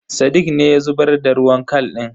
Sadiq ne ya zubar da ruwan kal din.